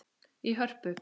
í Hörpu.